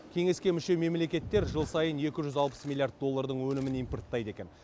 кеңеске мүше мемлекеттер жыл сайын екі жүз алпыс милллиард доллардың өнімін импорттайды екен